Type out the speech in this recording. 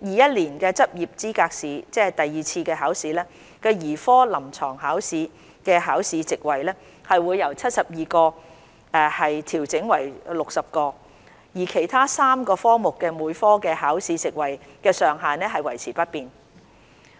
年執業資格試兒科臨床考試的考試席位會由72個調整為60個，而其他3個科目每科的考試席位上限則維持不變。